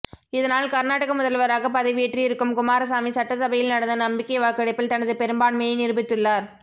இதனால் கர்நாடக முதல்வராக பதவியேற்று இருக்கும் குமாரசாமி சட்டசபையில் நடந்த நம்பிக்கை வாக்கெடுப்பில் தனது பெரும்பான்மையை நிரூபித்துள்ளார்